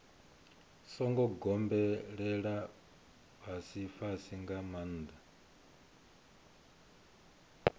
songo gobelela fhasifhasi nga maanḓa